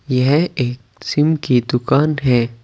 यह एक सिम की दुकान है।